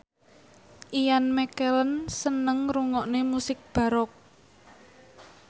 Ian McKellen seneng ngrungokne musik baroque